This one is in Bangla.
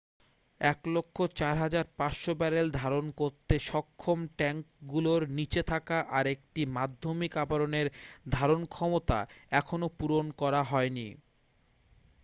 104,500 ব্যারেল ধারণ করতে সক্ষম ট্যাঙ্কগুলোর নীচে থাকা আরেকটি মাধ্যমিক আবরণের ধারণক্ষমতা এখনও পূরণ করা হয়নি